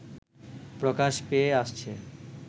প্রকাশ পেয়ে আসছে